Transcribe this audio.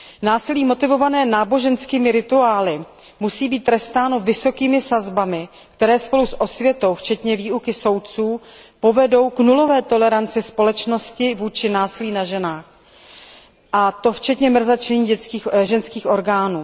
Násilí motivované náboženskými rituály musí být trestáno vysokými sazbami, které spolu s osvětou, včetně výuky soudců, povedou k nulové toleranci společnosti vůči násilí na ženách, a to včetně mrzačení ženských orgánů.